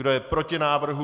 Kdo je proti návrhu?